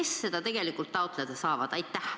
Kes seda raha tegelikult taotleda saavad?